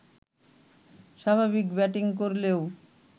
স্বাভাবিক ব্যাটিং করলেও